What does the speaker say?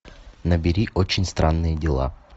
набери очень странные дела